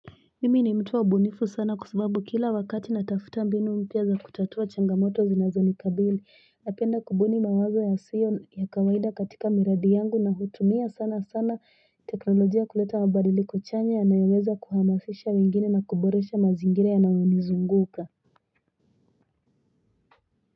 Mimi ni mtua bunifu sana kusubabu kila wakati natafutambi numpiaza kutatwa changamoto zinazoni kabili na penda kubuni mawaza ya siyon ya kawaida katika miradi yangu na hutumia sana sana teknologia kuleta wabariliko chanya na yuweza kuhamasisha wengine na kuboresha mazingire na wanizunguka.